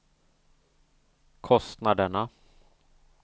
kostnaderna